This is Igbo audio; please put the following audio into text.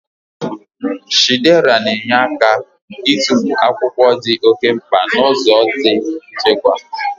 Shiredà na-enyere aka ịtụfu akwụkwọ ndị di oké mkpa n'ụzọ di nchekwa.